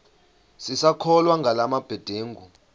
sisakholwa ngala mabedengu